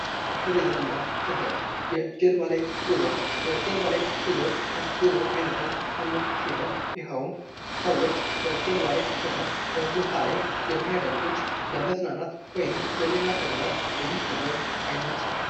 ቱሪዝም እና ስደት የጀልባ ላይ ጉዞ ፤ የጀልባ ላይ ጉዞ ከ ጉዞ ዓይነቶች አንዱ ሲሆን፤ ይኸውም ሰዎች በጀልባ ላይ ሆነው በውሃ ላይ የሚያደርጉት ለመዝናናት ወይም ለሌላ ተግባር የሚከወን አይነት ነው።